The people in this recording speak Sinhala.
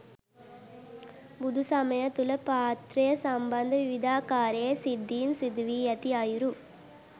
බුදුසමය තුළ පාත්‍රය සම්බන්ධ විවිධාකාරයේ සිද්ධීන් සිදුවී ඇති අයුරු